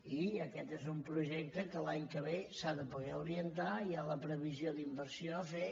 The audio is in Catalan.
i aquest és un projecte que l’any que ve s’ha de poder orientar i hi ha la previsió d’inversió a fer